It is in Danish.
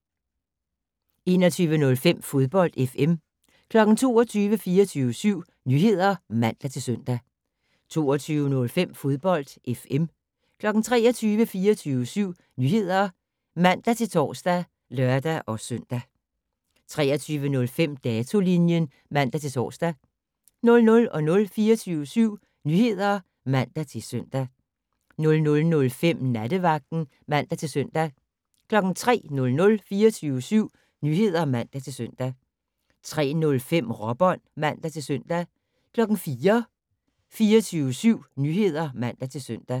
21:05: Fodbold FM 22:00: 24syv Nyheder (man-søn) 22:05: Fodbold FM 23:00: 24syv Nyheder (man-tor og lør-søn) 23:05: Datolinjen (man-tor) 00:00: 24syv Nyheder (man-søn) 00:05: Nattevagten (man-søn) 03:00: 24syv Nyheder (man-søn) 03:05: Råbånd (man-søn) 04:00: 24syv Nyheder (man-søn)